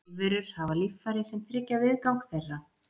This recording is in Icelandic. Lífverur hafa líffæri sem tryggja viðgang þeirra.